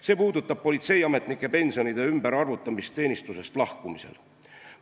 See puudutab politseiametnike pensionide ümberarvutamist teenistusest lahkumisel.